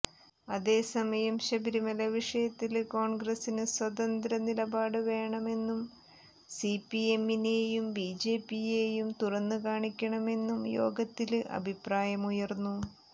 അതേസമയം ശബരിമല വിഷയത്തില് കോണ്ഗ്രസ്സിന് സ്വതന്ത്ര നിലപാട് വേണമെന്നും സിപിഎമ്മിനെയും ബിജെപിയെയും തുറന്നുകാണിക്കണമെന്നും യോഗത്തില് അഭിപ്രായമുയര്ന്നു